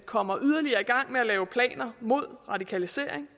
kommer yderligere i gang med at lave planer mod radikalisering